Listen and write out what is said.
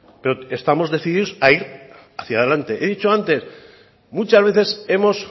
pero estamos decidimos a ir hacia delante he dicho antes muchas veces hemos